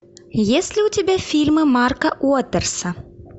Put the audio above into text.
есть ли у тебя фильмы марка уотерса